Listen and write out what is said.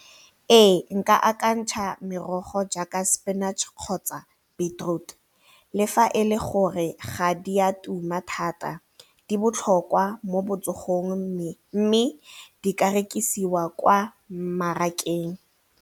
Ee nka akantsha merogo jaaka spinach kgotsa beetroot le fa e le gore ga di a tuma thata di botlhokwa mo botsogong mme di ka rekisiwa kwa mmarakeng.